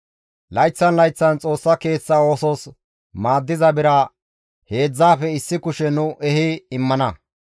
«Layththan layththan Xoossa Keeththa oosos maaddiza bira heedzdzaafe issi kushe nu ehi immana.